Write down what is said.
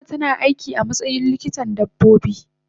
eh fatima tana aiki amatsayin likitan dabbobi.